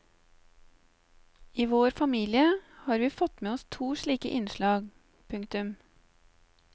I vår familie har vi fått med oss to slike innslag. punktum